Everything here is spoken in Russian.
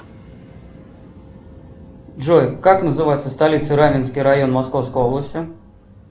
джой как называется столица раменский район московской области